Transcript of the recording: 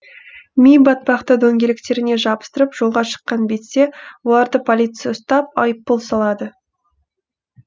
ми батпақты дөңгелектеріне жабыстырып жолға шыққан бетте оларды полиция ұстап айыппұл салады